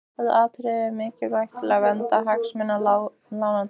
Þetta atriði er mikilvægt til verndar hagsmunum lánardrottna.